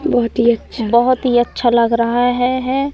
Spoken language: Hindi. बहोत ही अच्छा बहोत ही अच्छा लग रहा हे है।